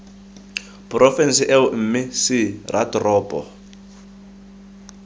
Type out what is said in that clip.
porofense eo mme c ratoropo